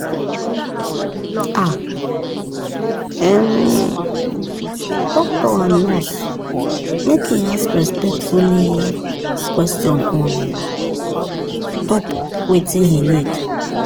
ah um docto and nurse make en ask respectfully question on top wetin he need